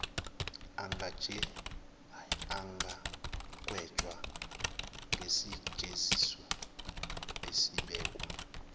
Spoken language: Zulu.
angagwetshwa ngesijeziso esibekwa